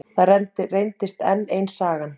Það reyndist enn ein sagan.